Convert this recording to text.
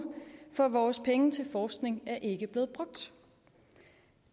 for vores penge til forskning er ikke blevet brugt